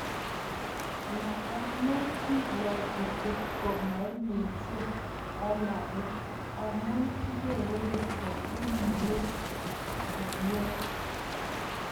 Ma amun kibwaatii kotko maimuuchii alake, amun kigeere kotko uiyoo kenyeech